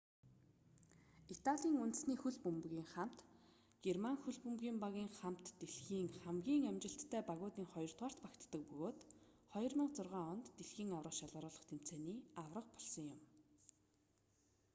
италийн үндэсний хөл бөмбөгийн хамт германы хөл бөмбөгийн багийн хамт дэлхийн хамгийн амжилттай багуудын хоёрдугаарт багтдаг бөгөөд 2006 онд дашт-ий аварга болсон юм